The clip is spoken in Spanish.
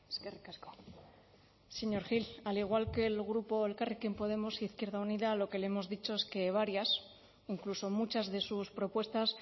eskerrik asko señor gil al igual que el grupo elkarrekin podemos izquierda unida lo que le hemos dicho es que varias incluso muchas de sus propuestas